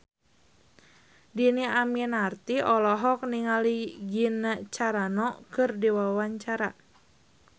Dhini Aminarti olohok ningali Gina Carano keur diwawancara